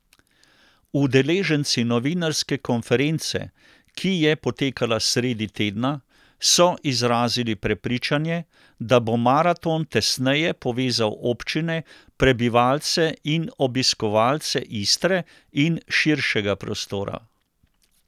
Udeleženci novinarske konference, ki je potekala sredi tedna, so izrazili prepričanje, da bo maraton tesneje povezal občine, prebivalce in obiskovalce Istre in širšega prostora.